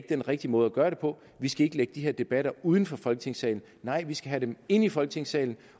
den rigtige måde at gøre det på vi skal ikke lægge de her debatter uden for folketingssalen nej vi skal have dem inde i folketingssalen